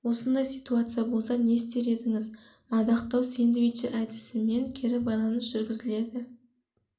осындай ситуация болса не істер едіңіз мадақтау сэндвичі әдісімен кері байланыс жүргізіледі